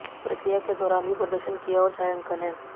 प्रक्रिया के दौरान भी प्रदर्शन किया और छायांकन है